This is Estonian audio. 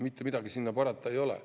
Mitte midagi sinna parata ei ole.